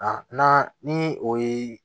n'an ni o ye